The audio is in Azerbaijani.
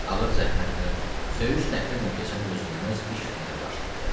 Ağır zəhmətlə, söyüş-təhqirlə keçən dözülməz iş günləri başlandı.